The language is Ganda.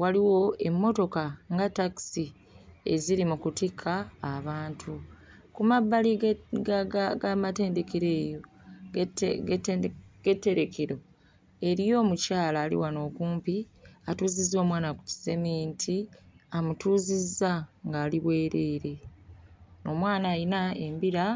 waliwo emmotoka nga ttakisi eziri mu kutikka abantu. Ku mabbali ge ga ga g'amatendekero eyo g'ette g'ettende g'etterekero eriyo omukyala ali wano okumpi atuuzizza omwana ku kiseminti amutuuzizza ng'ali bwereere. Omwana ayina embira.